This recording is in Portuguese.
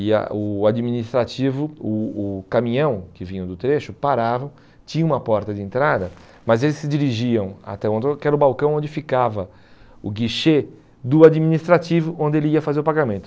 E a o administrativo, o o caminhão que vinha do trecho, parava, tinha uma porta de entrada, mas eles se dirigiam até o que era o balcão onde ficava o guichê do administrativo, onde ele ia fazer o pagamento.